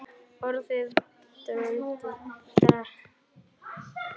Orðin brunnu hratt.